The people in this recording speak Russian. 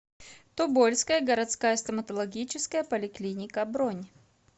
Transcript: тобольская городская стоматологическая поликлиника бронь